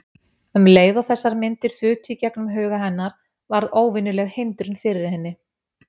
Um leið og þessar myndir þutu í gegnum huga hennar varð óvenjuleg hindrun fyrir henni.